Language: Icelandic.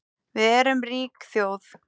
Við erum rík þjóð